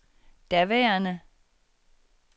daværende